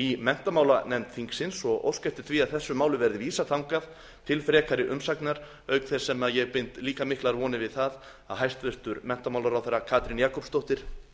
í menntamálanefnd þingsins og óska eftir því að þessu máli verði vísað þangað til frekari umsagnar auk þess sem ég bind líka miklar vonir við það að hæstvirtur menntamálaráðherra katrín jakobsdóttir